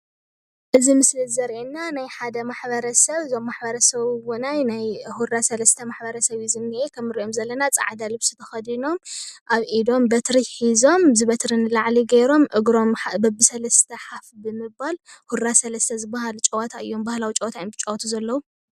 እዚ ምስሊ እዚ ዘሪኢና ናይ ሓደ ማሕብረሰበ እዞም ማሕበረሰብ እውነይ ናይ ሁራ ሰለስተ ማሕብረሰብ እዩ ዝኒአ ከምቲ ንሪኦ ዘለና ፃዕዳ ልብሲ ተከዲኖም አብ ኢዶም በትሪ ሒዞም እዚ በትሪ ንላዕሊ ገይሮም እግሮም በቢ ሰለስተ ሓፍ ብምባል ሁራ ሰለስተ ዝበሃል ጨወታ እዩም ባህላዊ ጨወታ እዮም ዝጫወቱ ዘለው፡፡